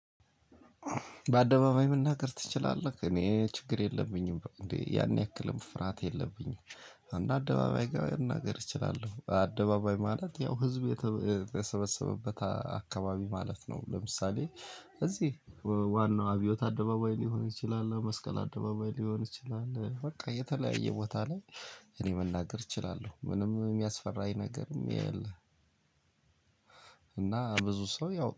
በአደባባይ መናገር ትችላለህ እኔ ችግር የለብኝም እንዴ ያን ያክል ፍርሃት የለብኝም። አንድ አደባባይ ጋር እናገር እችላለሁ። አደባባይ ማለት ያው ህዝብ የተሰበሰበበት አካባቢ ማለት ነው። ለምሳሌ እዚህ ዋናው አብዮት አደባባይ ሊሆን ይችላል መስቀል አደባባይ ሊሆን ይችላል በቃ የተለያየ ቦታ ላይ። እኔ መናገር እችላለሁ ምንም የሚያስፈራኝ ነገርም የለም። እና ብዙ ሰው ያው